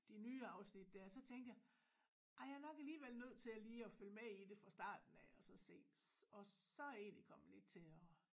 De nye afsnit der så tænkte jeg ej jeg er nok alligevel nødt til lige at følge med i det fra starten af og så se og så er jeg egentlig kommet lidt til at